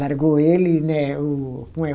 Largou ele, né? O como é